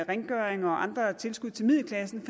rengøring og andre tilskud til middelklassen